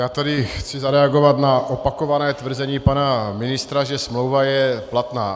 Já tady chci zareagovat na opakované tvrzení pana ministra, že smlouva je platná.